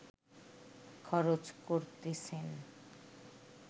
খরচ করতেছেন